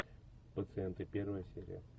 пациенты первая серия